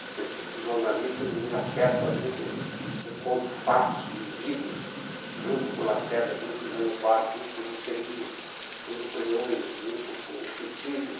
Porque esses jornalistas me apertam, às vezes eu conto fatos vividos junto com o Lacerda, junto com o Jânio Quadro, junto com o Juscelino, junto com o Leônidas, junto com o Titilo.